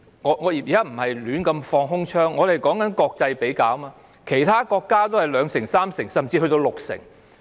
我不是亂放空槍，而是與國際比較，其他國家的成功率是二三成，甚至六成。